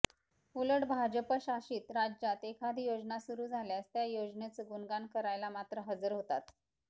उलट भाजपशासित राज्यात एखादी योजना सुरु झाल्यास त्या योजनेचं गुणगान करायला मात्र हजर होतात